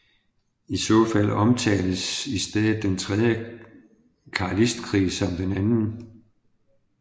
I så fald omtales i stedet den tredje carlistkrig som den anden